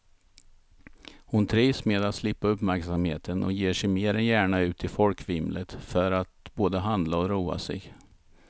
Hon trivs med att slippa uppmärksamheten och ger sig mer än gärna ut i folkvimlet för att både handla och roa sig.